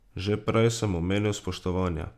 Že prej sem omenil spoštovanje.